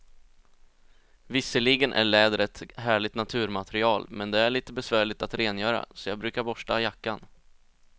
Visserligen är läder ett härligt naturmaterial, men det är lite besvärligt att rengöra, så jag brukar borsta jackan.